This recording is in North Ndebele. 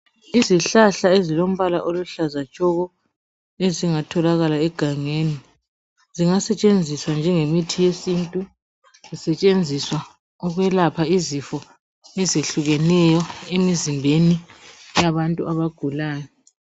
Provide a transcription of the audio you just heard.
Izihlahla ezilombala oluhlaza tshoko ezingatholakala egangeni. Zingasetshenziswa njengomithi wesintu Zisetshenziswa ukwelapha izifo ezehlukeneyo emzimbeni yabantu abagulayo.